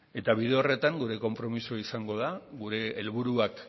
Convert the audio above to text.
eta bide horretan gure konpromiso izango da gure helburuak